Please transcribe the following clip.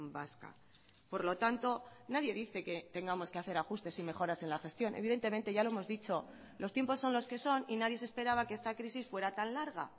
vasca por lo tanto nadie dice que tengamos que hacer ajustes y mejoras en la gestión evidentemente ya lo hemos dicho los tiempos son los que son y nadie se esperaba que esta crisis fuera tan larga